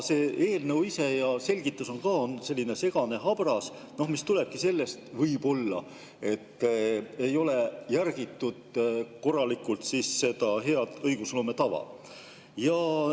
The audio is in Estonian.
See eelnõu ise ja selgitus on ka selline segane ja habras, mis tulebki võib-olla sellest, et korralikult ei ole järgitud hea õigusloome tava.